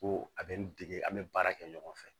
Ko a bɛ n dege an bɛ baara kɛ ɲɔgɔn fɛ